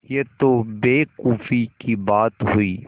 यह तो बेवकूफ़ी की बात हुई